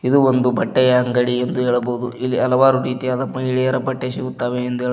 ಇದು ಒಂದು ಬಟ್ಟೆಯ ಅಂಗಡಿಯಂದು ಹೇಳಬಹುದು ಇಲ್ಲಿ ಹಲವಾರು ರೀತಿಯ ಮಹಿಳೆಯರ ಬಟ್ಟೆ ಸಿಗುತ್ತವೆ ಎಂದು ಹೇಳಬಹು --